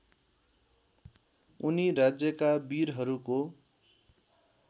उनी राज्यका वीरहरूको